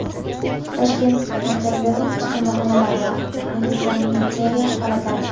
Toshkent markazidagi chiqindixonalar va antisanitariya holatlari.